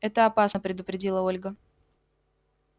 это опасно предупредила ольга